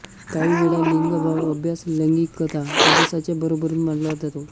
काहीवेळा लिंगभाव अभ्यास लैंगिकता अभ्यासाच्या बरोबरीने मांडला जातो